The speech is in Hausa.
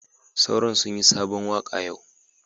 Sauron sunyi sabon waka yau.